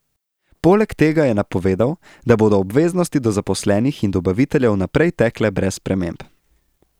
Poleg tega je napovedal, da bodo obveznosti do zaposlenih in dobaviteljev naprej tekle brez sprememb.